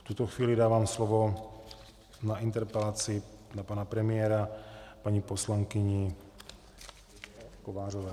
V tuto chvíli dávám slovo na interpelaci na pana premiéra paní poslankyni Kovářové.